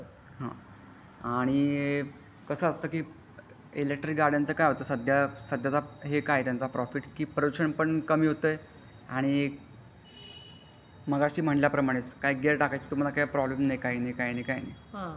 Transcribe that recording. आणि कसं असतं की इलेक्ट्रिक गाड्यांचा काय होतं सध्याचं साधायचा प्रॉफिट काय की प्रदूषण पण कमी होतंय आणि मगाशी म्हणल्याप्रमाणे काय गियर टाकायचं तुम्हाला काय प्रॉब्लेम नाही काही नाही काही नाही काय.